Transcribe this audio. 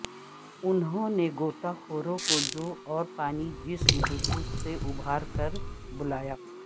انہوں نے غوطہ خوروں کو جو اور پانی جسم بزرگ سے ابھار کر بلایا